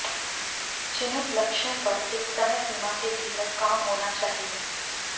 चिन्हित लक्ष्यों पर एक समय सीमा के भीतर काम होना चाहिए